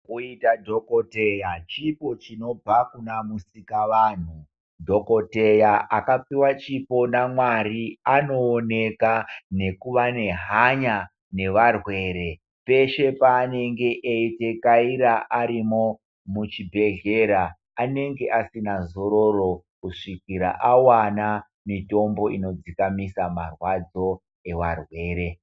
Kuita dhokodheyaa chipo chinobva kunamusikavanhu, dhokodheyaa akapiwa chipo namwari anooneka nekuva nehanya nevarwere, peshe paanenge eidekaira arimo muchibhedhlera anenge asina zororo kusvikira awana mitombo inodzikamisa marwadzo evarwere.